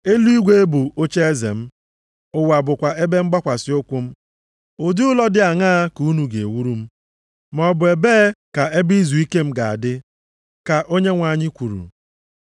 “ ‘Eluigwe bụ ocheeze m. Ụwa bụkwa ebe mgbakwasị ụkwụ m. Ụdị ụlọ dị aṅaa ka unu ga-ewuru m? Maọbụ ebee ka ebe izuike m ga-adị? Ka Onyenwe anyị kwuru.